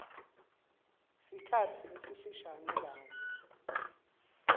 sikhatsi lesifishane kanye